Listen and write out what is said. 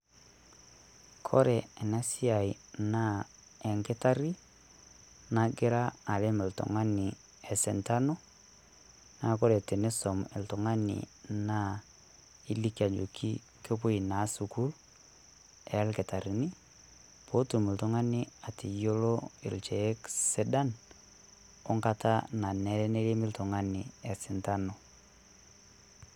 Kore ene siaai naa enkitaari najira areem iltung'ani esintaanu. Neeku kore tiniisom oltung'ani naa elikii ajoki kepoo naa sukuul e nkitaririn pee otuum iltung'ani eiteloo lncheek sidaan o nga'ata nanere nereim iltung'ani e sintaanu.